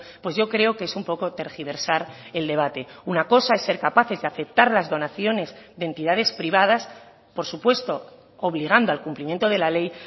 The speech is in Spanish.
pues yo creo que es un poco tergiversar el debate una cosa es ser capaces de aceptar las donaciones de entidades privadas por supuesto obligando al cumplimiento de la ley